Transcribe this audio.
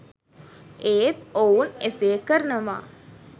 ඒත් ඔවුන් එසේ කරනවා.